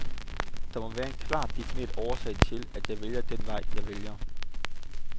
Der må være en klart defineret årsag til, at jeg vælger den vej, jeg vælger.